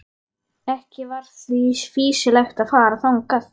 Ekki var því fýsilegt að fara þangað.